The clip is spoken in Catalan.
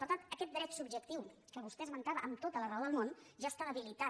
per tant aquest dret subjectiu que vostè esmentava amb tota la raó del món ja està debilitat